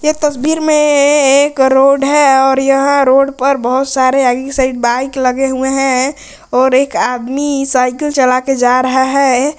ये एक तस्वीर में ये एक रोड़ है और यहां रोड पर बहुत सारे आगे साइड बाइक लगे हुए हैं और एक आदमी साइकिल चला के जा रहा है।